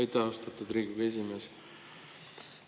Aitäh, austatud Riigikogu esimees!